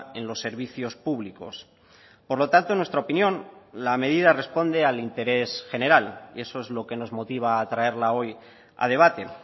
en los servicios públicos por lo tanto en nuestra opinión la medida responde al interés general y eso es lo que nos motiva a traerla hoy a debate